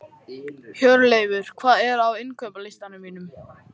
Hjörleifur, hvað er á innkaupalistanum mínum?